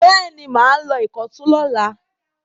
Bẹ́ẹ̀ ni, mà á lọ Ìkọ̀tún lọ́la.